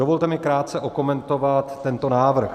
Dovolte mi krátce okomentovat tento návrh.